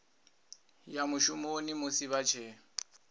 ya mushumoni musi vha tshee